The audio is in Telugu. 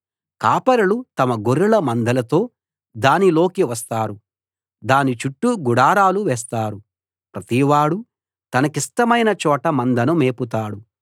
కాపరులు తమ గొర్రెల మందలతో దానిలోకి వస్తారు దాని చుట్టూ గుడారాలు వేస్తారు ప్రతివాడూ తన కిష్టమైన చోట మందను మేపుతాడు